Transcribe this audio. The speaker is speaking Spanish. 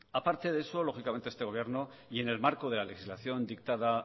aparte de eso lógicamente este gobierno y en el marco de la legislación dictada